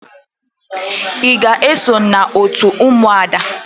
Ị ga-eso n'òtù ụmụada?